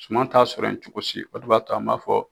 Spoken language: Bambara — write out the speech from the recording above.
Suma t'a sɔrɔ yen cogo si o de b'a to taa an b'a fɔ.